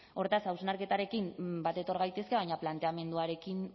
hortaz hausnarketarekin bat etor gaitezke baina planteamenduarekin